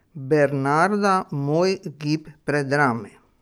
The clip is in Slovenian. Bernarda moj gib predrami.